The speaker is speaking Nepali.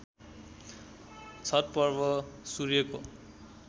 छठ पर्व सूर्यको